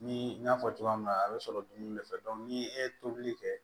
Ni n y'a fɔ cogoya min na a bɛ sɔrɔ dumuni de fɛ ni e ye tobili kɛ